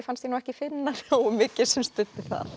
fannst ég ekki finna nógu mikið sem studdi það